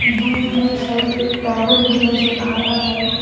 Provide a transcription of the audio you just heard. दूर में शायद एक टावर भी नज़र आ रहा है।